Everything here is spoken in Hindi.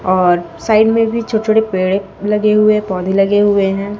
और साइड में भी छोटे छोटे पेड़ लगे हुए है पौधे लगे हुए हैं।